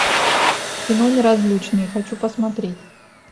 кино неразлучные хочу посмотреть